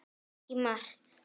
Ekki margt.